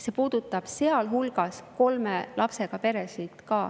See puudutab ka kolme lapsega peresid.